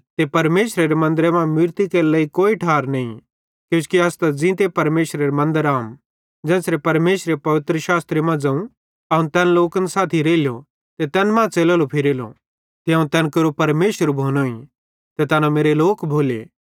ते परमेशरे मन्दरेरे मां मूरती केरे लेइ कोई ठार नईं किजोकि अस त ज़ींते परमेशरेरां मन्दर अहम ज़ेन्च़रे परमेशरे पवित्रशास्त्रे ज़ोवं अवं तैन लोकन साथी रेइलो ते तैन मां च़लेलो फिरेलो ते अवं तैन केरो परमेशर भोनोईं ते तैना मेरे लोक भोले